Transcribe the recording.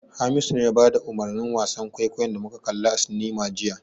Hamisu ne ya bada umurnin wasan kwaikwayon da muka kalla a cinema jiya.